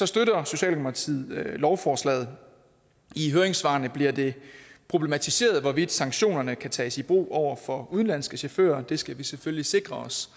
støtter socialdemokratiet lovforslaget i høringssvarene bliver det problematiseret hvorvidt sanktionerne kan tages i brug over for udenlandske chauffører og det skal vi selvfølgelig sikre os